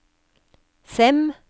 Sem